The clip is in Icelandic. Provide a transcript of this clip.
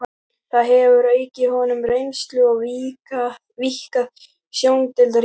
Það hefur aukið honum reynslu og víkkað sjóndeildarhringinn.